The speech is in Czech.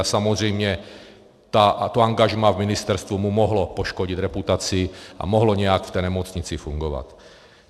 A samozřejmě to angažmá v ministerstvu mu mohlo poškodit reputaci a mohlo nějak v té nemocnici fungovat.